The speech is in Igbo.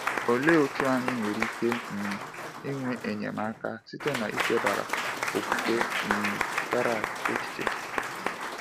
Olee otú anyị nwere ike um inwe enyemaka site n’ichebara okwukwe um Barak echiche?